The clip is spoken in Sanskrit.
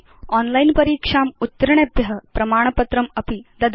ओनलाइन् परीक्षाम् उत्तीर्णेभ्य प्रमाणपत्रमपि ददाति